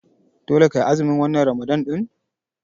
Dole kai azumi wannan Ramalan ɗin.